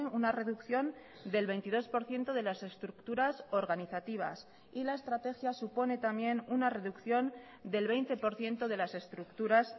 una reducción del veintidós por ciento de las estructuras organizativas y la estrategia supone también una reducción del veinte por ciento de las estructuras